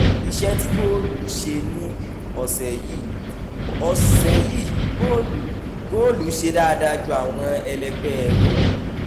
iṣẹ́ tí góòlù ṣe ní ọ̀sẹ̀ yìí: ọ̀sẹ̀ yìí góòlù góòlù ṣe dáadáa ju àwọn ẹlẹ́gbẹ́ rẹ̀